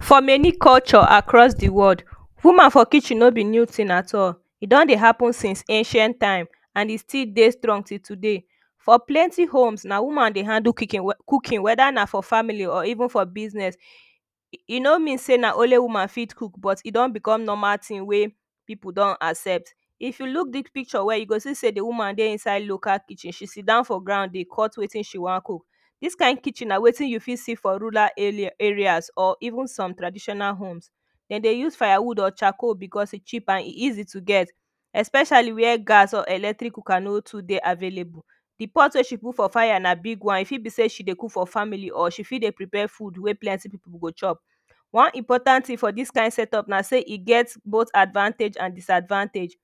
For many culture across de world woman for kitchen no be new tin at all e don dey happen since ancient time and e still dey strong till today for plenty homes na woman dey handle cooking wada na for family or even for business e no mean say na only woman fit cook but e don become normal tin wey people don accept if you look dis picture well you go see say de woman dey inside local kitchen she sidown for ground dey cut wetin she wan cook dis kind kitchen na wetin you fit see for rural areas or even some traditional homes dem dey use firewood or charcaol because e cheap and e easy to get especially wey gas and electric cooker no too dey available. de pot wey she put for fire na big one e fit be say she dey cook for family or she dey prepare food wey plenty people go chop one important tin for dis kind setup na say e get bot advantage and disadvantage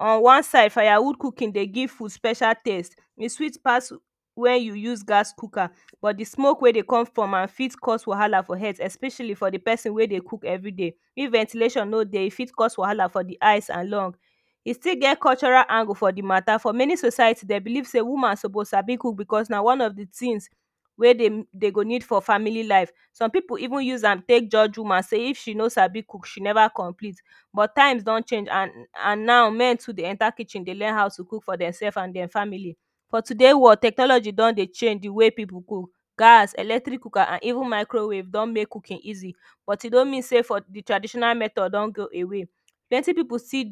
on one side firewood cooking dey give food special taste e sweet pass wen you use gas cook am but de smoke wey dey come from am for cause wahala for healt especially for de person wey dey cook everyday if ventilation no day e fit cause wahala for de eyes and lungs e still get cultural angle for de matter for many society dem believe say woman suppose Sabi cook because na one of de tins wey dey dey go need for family life some people even use am take judge woman if she no Sabi cook she never complete but times don change and now men too dey enter kitchen dey learn how to cook for dem self and dem family for today world technology don dey change de way people go cook. Gas electric cooker and even microwave don make cooking easy but e no mean say for de traditional method don go away plenty people still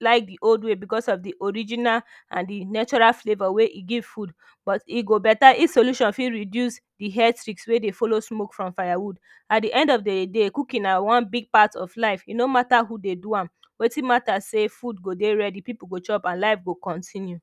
like de old way becos of de original an de natural flavour wey e give food but e go better if solution fit reduce the health risk wey dey follow smoke from firewood at the end of de day cooking na one big part of life e no mata who dey do am wetin Mata say food go dey ready people go chop an life go continue